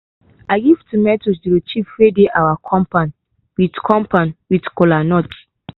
i give tomatoes to de chief wey dey our compound with compound with kola nuts.